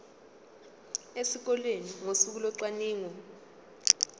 esikoleni ngosuku locwaningo